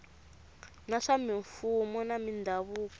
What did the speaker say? na swa mimfuwo na mindhavuko